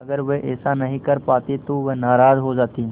अगर वह ऐसा नहीं कर पाते तो वह नाराज़ हो जाते